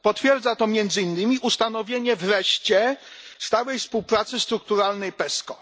Potwierdza to między innymi ustanowienie wreszcie stałej współpracy strukturalnej PESCO.